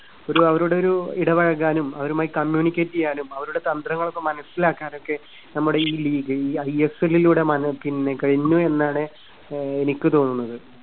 ഒരു അവരൊടൊരു ഇടപഴകാനും അവരുമായി communicate ചെയ്യാനും അവരുടെ തന്ത്രങ്ങളൊക്കെ മനസ്സിലാക്കാനും ഒക്കെ നമ്മുടെ ഈ ഈ ഐഎസ്എല്ലിലൂടെ പിന്നെ കഴിഞ്ഞു എന്നാണ് ആഹ് എനിക്ക് തോന്നുന്നത്.